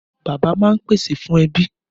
Bàbá máa ń pèsè fún ẹbí